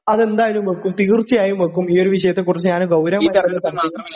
അതെന്തായാലും വായിക്കും, തീർച്ചയായും വയ്ക്കും. ഈ ഒരു വിഷയത്തെ കുറിച്ച് ഞാന് ഗൗരവമായി ...